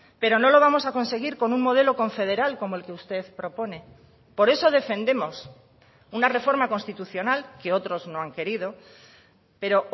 pero no lo vamos a conseguir con un modelo confederal como el que usted propone por eso defendemos una reforma constitucional que otros no han querido pero